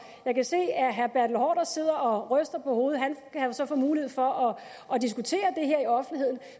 jeg kan se at herre bertel haarder sidder og ryster på hovedet han kan jo så få mulighed for at diskutere